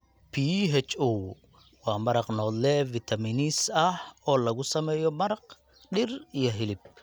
Pho waa maraq noodle Vietnamese ah oo lagu sameeyay maraq, dhir iyo hilib.